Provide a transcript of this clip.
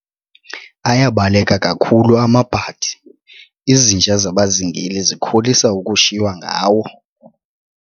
Ayabaleka kakhulu amabhadi, izinja zabazingeli zikholisa ukushiywa ngawo.